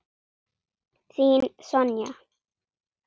Þín Sonja.